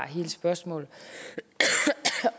hele spørgsmålet